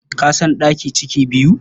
Ka san ɗaki ciki biyu?